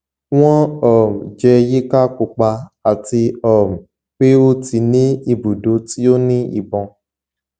wọn um jẹ yika pupa ati um pe o ti ni ibudo ti o ni ibọn